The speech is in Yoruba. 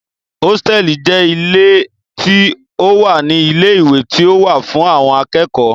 Hósítẹ̀ẹ̀lì jẹ́ ilé tí ó wà ní ilé ìwé tí ó wà fún àwọn akẹ́kọ̀ọ́